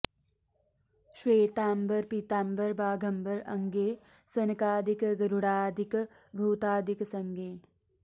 श्वेतांबर पीतांबर बाघंबर अंगे सनकादिक गरुडादिक भूतादिक संगे